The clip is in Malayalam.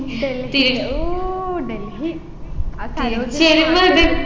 ഡൽഹിയില് ഓ ഡൽഹി ആ സരോജിനി